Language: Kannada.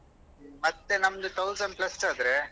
ಮತ್ತೆ ನಮ್ದು thousand plus ಆದ್ರೆ.